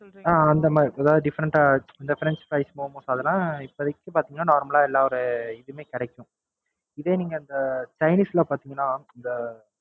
அஹ் அந்த மாதிரி எதாவது Different ஆ இந்த French fries, Momos அதெல்லாம் இப்போதைக்கி பாத்தீங்கன்னா Normal ஆ எல்லாம் ஒரு எங்கயுமே கிடைக்கும். இதே நீங்க Chinese ல பாத்தீங்கன்னா அந்த